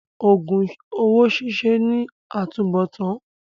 Òògùn owó ṣíṣe ní àtúnbọ̀tán.